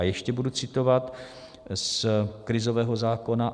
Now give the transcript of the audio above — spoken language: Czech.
A ještě budu citovat z krizového zákona.